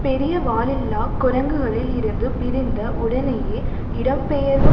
பெரிய வாலில்லா குரங்குகளில் இருந்து பிரிந்த உடனேயே இடம்பெயர்வு